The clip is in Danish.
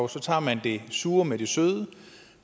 så tager man det sure med det søde